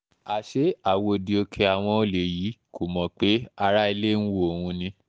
àṣé àwòdì òkè àwọn olè yìí kò mọ̀ pé ará ilé ń wọ́ òun ni